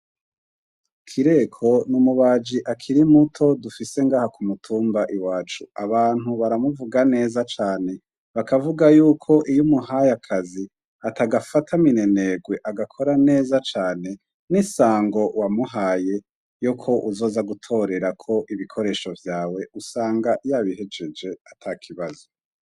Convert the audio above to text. Kireko n’umubaji akiri muto dufise ngaha ku mutumba iwacu, abantu baramuvuga neza cane bakavuga yuko iyo umuhaye akazi atagafata minenerwe agakorera neza cane, n’isango wamuhaye yuko uzoza gutorerako ibikoresho vyawe usanga yabihejeje ata kibazo.